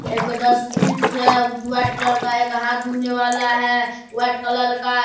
एगो डस्टबिंस है जो व्हाइट कलर का एक हाथ धोने वाला है व्हाइट कलर का।